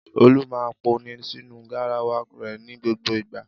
Olú máa ń pọnmi sínú garawa rẹ̀ ní gbogbo ìgbà.